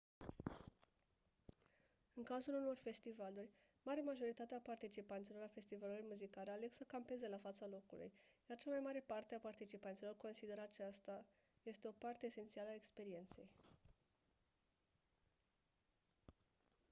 în cazul unor festivaluri marea majoritate a participanților la festivalurile muzicale aleg să campeze la fața locului iar cea mai mare parte a participanților consideră aceasta este o parte esențială a experienței